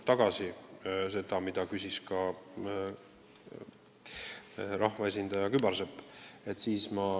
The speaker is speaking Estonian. Seda küsis ka rahvaesindaja Kübarsepp.